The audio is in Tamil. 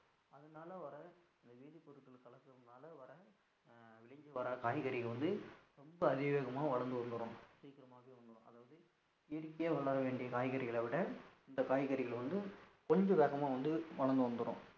இதனால வர இந்த வேதிபொருட்கள் கலகுறதுனால வர விளைஞ்சி வர காய்கறிகள் வந்து ரொம்ப அதிவேகமா வளர்ந்து வந்துரும் சீக்கிரமாவே வந்துரும் அதாவது இயற்கையா வளர வேண்டிய காய்கறிகளை விட இந்த காய்கறிகள் வந்து கொஞ்சம் வேகமா வந்து வந்துரும்